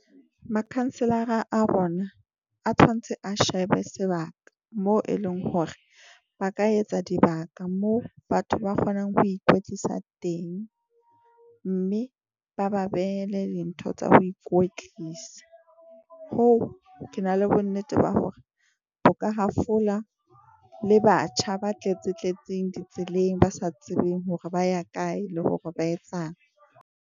Makhanselara a rona a tshwantse a shebe sebaka moo e leng hore ba ka etsa dibaka. Moo batho ba kgonang ho ikwetlisa teng, mme ba ba ba behele dintho tsa ho ikwetlisa. Hoo ke na le bonnete ba hore bo ka hafola le batjha ba tletse tletseng di tseleng, ba sa tsebeng hore ba ya kae, le hore ba etsang.